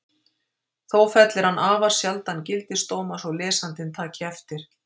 Þó fellir hann afar sjaldan gildisdóma svo lesandinn taki eftir.